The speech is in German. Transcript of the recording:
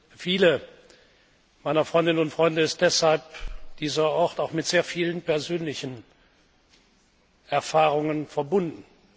Für viele meiner Freundinnen und Freunde ist deshalb dieser Ort auch mit sehr vielen persönlichen Erfahrungen verbunden.